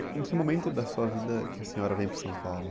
Em que momento da sua vida que a senhora veio para São Paulo?